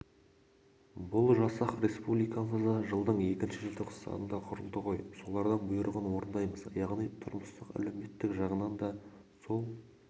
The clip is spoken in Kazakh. бұл жасақ республикамызда жылдың екінші желтоқсанында құрылды ғой солардың бұйрығын орындаймыз яғни тұрмыстық-әлеуметтік жағынан да сол